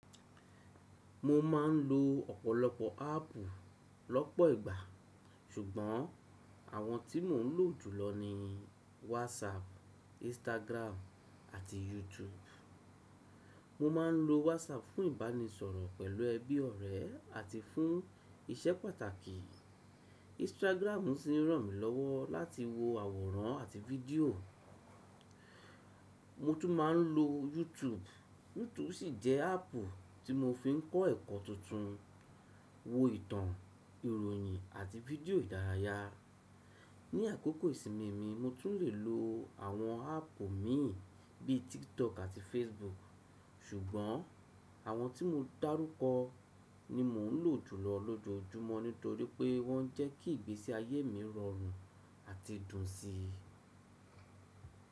Mo ma n lo ọ̀pọ̀lọpọ̀ áàpù lọ́pọ̀ ìgbà, ṣùgbọ́n àwọn tí mò ń lò jùlọ ni WhatsApp, Instagram àti YouTube. Mo máa n lo WhatsApp fún ìbánisọ̀rọ̀ pẹ̀lú ẹbí ọ̀rẹ́ àti fún iṣẹ́ pàtàkì. Instagram sì ń ràn mí lọ́wọ́ láti wo àwòrán àti fídíò. Mo tún ma n lo YouTube, YouTube sì jẹ́ áàpù tí mo fi ń kọ́ ẹ̀kọ́ tuntun, wo ìtàn, ìròyìn àti fídíò ìdárayá. Ni àkókò ìsinmi mi, mo tún le lo àwọn áàpù mi bíi TikTok àti Facebook. Ṣùgbọ́n àwọn tí mo dárúkọ ni mò ń lò jùlọ lójoojúmọ́ nítorí pé wọ́n jẹ́ kí ìgbésí ayé mi rọrùn àti dùn síi.